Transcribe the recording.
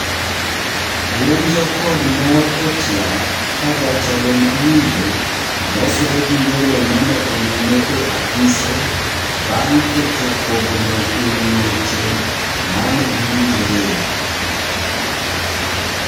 Buonjo kod mor otiap kajatelo mamiyo mosore giwelo mane olime e apise bang' keto kogno ewi weche mane giwinjoree.